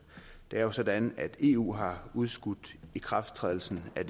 det er jo sådan at eu har udskudt ikrafttrædelsen af